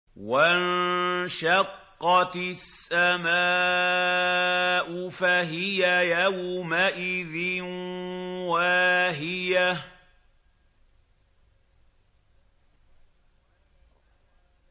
وَانشَقَّتِ السَّمَاءُ فَهِيَ يَوْمَئِذٍ وَاهِيَةٌ